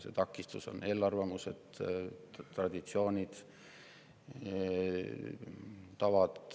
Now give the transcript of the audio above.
Need takistused on eelarvamused, traditsioonid ja tavad.